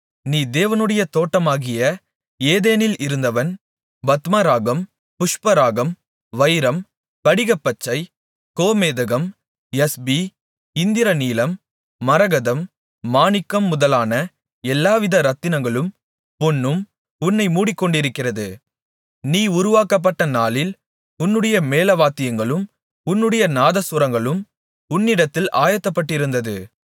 நீ தேவனுடைய தோட்டமாகிய ஏதேனில் இருந்தவன் பத்மராகம் புஷ்பராகம் வைரம் படிகப்பச்சை கோமேதகம் யஸ்பி இந்திரநீலம் மரகதம் மாணிக்கம் முதலான எல்லாவித இரத்தினங்களும் பொன்னும் உன்னை மூடிக்கொண்டிருக்கிறது நீ உருவாக்கப்பட்ட நாளில் உன்னுடைய மேளவாத்தியங்களும் உன்னுடைய நாதசுரங்களும் உன்னிடத்தில் ஆயத்தப்பட்டிருந்தது